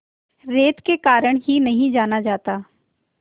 रेत के कारण ही नहीं जाना जाता